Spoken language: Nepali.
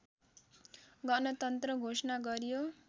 गणतन्त्र घोषणा गरियो